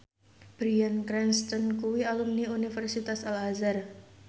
Bryan Cranston kuwi alumni Universitas Al Azhar